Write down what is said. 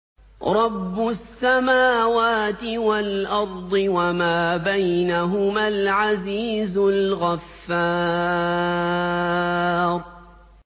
رَبُّ السَّمَاوَاتِ وَالْأَرْضِ وَمَا بَيْنَهُمَا الْعَزِيزُ الْغَفَّارُ